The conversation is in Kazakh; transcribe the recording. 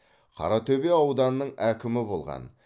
қаратөбе ауданының әкімі болған